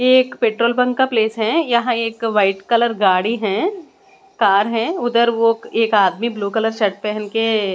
एक petrol pump का place है यहां एक वाइट कलर गाड़ी है कार है उधर वह एक आदमी ब्लू कलर शर्ट पहन के--